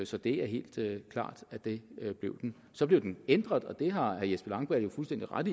så det er helt klart at det blev den så blev den ændret og det har herre jesper langballe jo fuldstændig ret